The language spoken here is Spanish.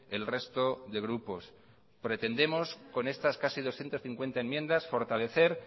el resto de grupos pretendemos con estas casi doscientos cincuenta enmiendas fortalecer